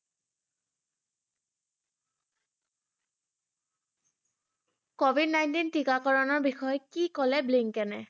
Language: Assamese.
covid nineteen টীকাকৰণৰ বিষয়ে কি কলে ব্লিংকনে?